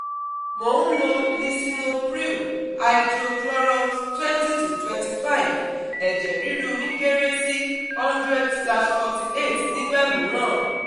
Mò ń lo lisinoppril-hydrochloroth twenty to twenty five eje riru mi kéré sí hundred slash forty eight cs]nígbà mìíràn